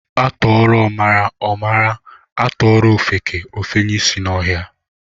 A tuoro omara, o mara, a tuoro ofeke, o fenye ishi n'ohia.